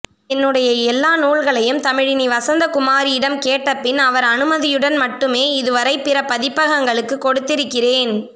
என்னுடைய எல்லா நூல்களையும் தமிழினி வசந்தகுமாரிடம் கேட்டபின் அவர் அனுமதியுடன் மட்டுமே இதுவரை பிற பதிப்பகங்களுக்கு கொடுத்திருக்கிறேன்